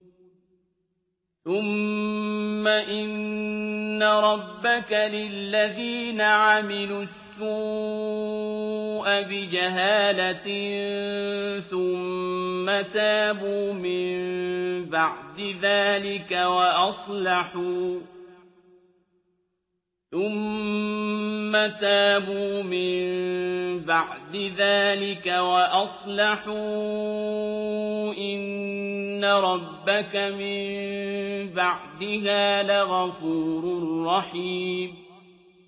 ثُمَّ إِنَّ رَبَّكَ لِلَّذِينَ عَمِلُوا السُّوءَ بِجَهَالَةٍ ثُمَّ تَابُوا مِن بَعْدِ ذَٰلِكَ وَأَصْلَحُوا إِنَّ رَبَّكَ مِن بَعْدِهَا لَغَفُورٌ رَّحِيمٌ